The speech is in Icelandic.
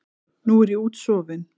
Nú er ég útsofin.